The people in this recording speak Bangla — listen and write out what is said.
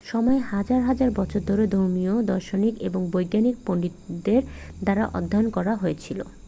সময় হাজার হাজার বছর ধরে ধর্মীয় দার্শনিক এবং বৈজ্ঞানিক পণ্ডিতদের দ্বারা অধ্যয়ন করা হয়েছে